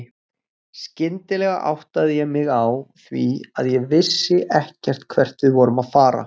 Skyndilega áttaði ég mig á því að ég vissi ekkert hvert við vorum að fara.